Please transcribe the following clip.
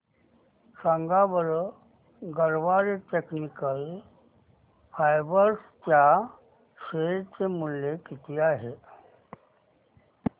सांगा बरं Garware technical fibres च्या शेअर चे मूल्य किती आहे